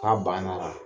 K'a banna